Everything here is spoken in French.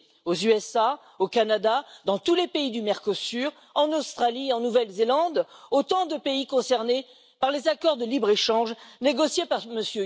aux États Unis, au Canada, dans tous les pays du Mercosur, en Australie et en Nouvelle Zélande autant de pays concernés par les accords de libre échange négociés par M.